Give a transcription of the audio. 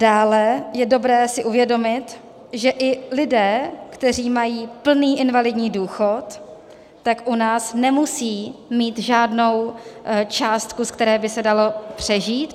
Dále je dobré si uvědomit, že i lidé, kteří mají plný invalidní důchod, tak u nás nemusí mít žádnou částku, z které by se dalo přežít;